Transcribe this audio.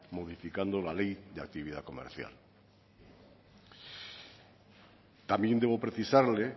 modificación la ley de actividad comercial también debo precisarle